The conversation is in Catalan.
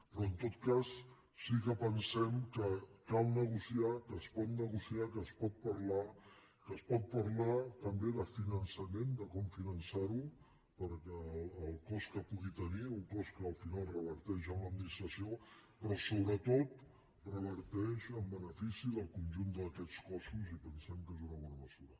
però en tot cas sí que pensem que cal negociar que es pot negociar que es pot parlar que es pot parlar també de finançament de com finançar ho perquè el cost que pugui tenir un cost que al final reverteix en l’administració però sobretot reverteix en benefici del conjunt d’aquests cossos i pensem que és una bona mesura